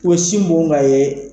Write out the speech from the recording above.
O bɛ sin bon k'a ye.